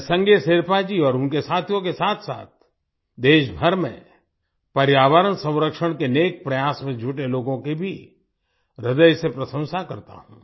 मैं संगे शेरपा जी और उनके साथियों के साथसाथ देशभर में पर्यावरण संरक्षण के नेक प्रयास में जुटे लोगों की भी ह्रदय से प्रशंसा करता हूं